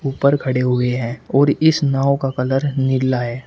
ऊपर खड़े हुए हैं और इस नाव का कलर नीला है।